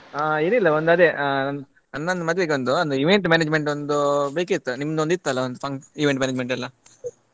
ಹಾ ಏನಿಲ್ಲ ಒಂದು ಅದೇ ಆ ಅಣ್ಣನ ಮದುವೆಗೆ ಒಂದು event management ಒಂದು ಬೇಕಿತ್ತು ನಿಮ್ಮದೊಂದು ಇತ್ತಲ್ಲ ಒಂದು fun~ event management ಎಲ್ಲ.